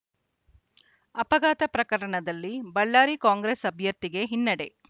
ಅಪಘಾತ ಪ್ರಕರಣದಲ್ಲಿ ಬಳ್ಳಾರಿ ಕಾಂಗ್ರೆಸ್‌ ಅಭ್ಯರ್ಥಿಗೆ ಹಿನ್ನಡೆ